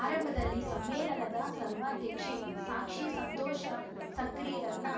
ಆರಂಭದಲ್ಲಿ ಸಮ್ಮೇಳನದ ಸರ್ವಾಧ್ಯಕ್ಷೆ ಸಾಕ್ಷಿ ಸಂತೋಷ ಸಕ್ರಿರನ್ನ